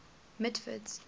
mitford's